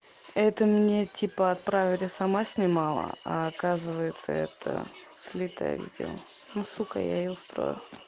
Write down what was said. это мне типа отправили сама снимала а оказывается это слитое видео ну сука я ей устрою